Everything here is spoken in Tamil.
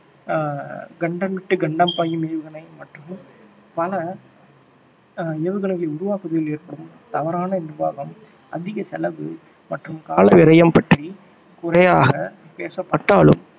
ஆஹ் கண்டம் விட்டு கண்டம் பாயும் ஏவுகணை மற்றும் பல ஏவுகணைகளை உருவாக்குவதில் ஏற்படும் தவறான நிர்வாகம் அதிக செலவு மற்றும் கால விரயம் பற்றி குறையாக பேசப்பட்டாலும்